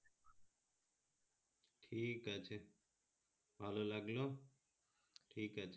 ঠিক আছে ভালোই লাগলো ঠিক আচে